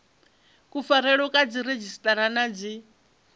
kufarelwe kwa dziredzhisiṱara na dzi